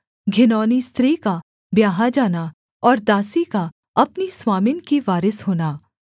घिनौनी स्त्री का ब्याहा जाना और दासी का अपनी स्वामिन की वारिस होना